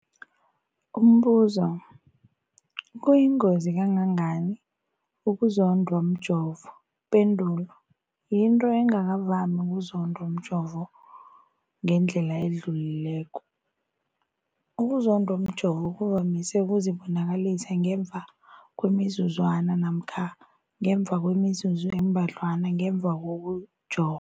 Umbuzo, kuyingozi kangangani ukuzondwa mjovo? Ipendulo, yinto engakavami ukuzondwa mjovo ngendlela edluleleko. Ukuzondwa mjovo kuvamise ukuzibonakalisa ngemva kwemizuzwana namkha ngemva kwemizuzu embadlwana ngemva kokujo